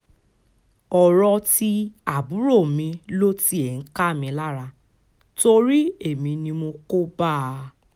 ọ̀rọ̀ ti àbúrò mi ló tiẹ̀ ń ká mi lára torí èmi ni mo kó bá a